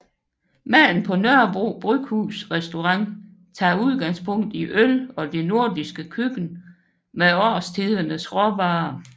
Maden på Nørrebro Bryghus restaurant tager udgangspunkt i øl og det nordiske køkken med årstidernes råvarer